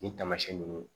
Nin taamasiyɛn nunnu